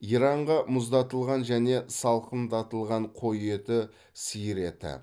иранға мұздатылған және салқындатылған қой еті сиыр еті